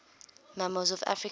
mammals of africa